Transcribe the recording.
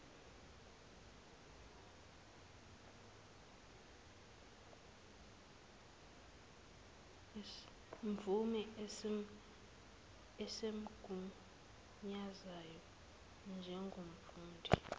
mvume esimgunyazayo njengomfundi